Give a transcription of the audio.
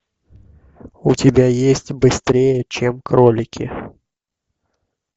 у тебя есть быстрее чем кролики